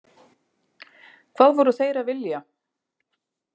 Hvað voru þeir að vilja?